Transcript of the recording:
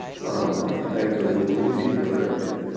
মানে guide করে দেব ওগুলো চিন্তা করার কিছু নিয়ে।